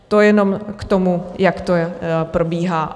To jenom k tomu, jak to probíhá.